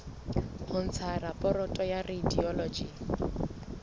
ho ntsha raporoto ya radiology